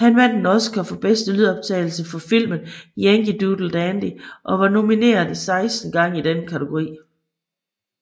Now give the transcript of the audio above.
Han vandt en Oscar for bedste lydoptagelse for filmen Yankee Doodle Dandy og var nomineret 16 gange i den kategori